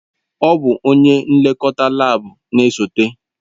Ọ bụ onye nlekọta laabu na-esote.